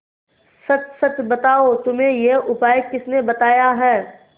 सच सच बताओ तुम्हें यह उपाय किसने बताया है